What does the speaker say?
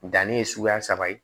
Danni ye suguya saba ye